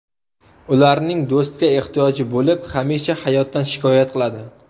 Ularning do‘stga ehtiyoji bo‘lib, hamisha hayotdan shikoyat qiladi.